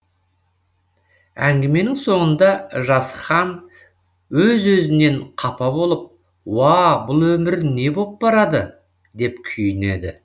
әңгіменің соңында жасхан өз өзінен қапа болып уа бұл өмір не боп барады деп күйінеді